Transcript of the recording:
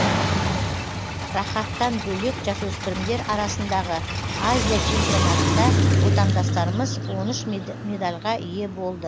рахаттан бөлек жасөспірімдер арасындағы азия чемпионатында отандастарымыз он үш медальға ие болды